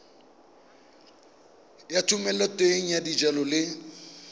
ya thomeloteng ya dijalo le